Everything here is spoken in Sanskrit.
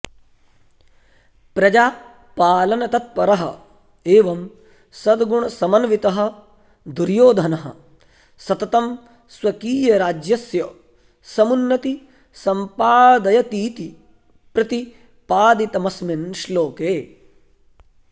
प्रजापालनतत्परः एवं सद्गुणसमन्वितः दुर्योधनः सततं स्वकीयराज्यस्य समुन्नति सम्पादयतीति प्रतिपादितमस्मिन् श्लोके